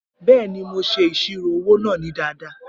Bẹẹni, Mo ṣe iṣiro owo naa ni dada.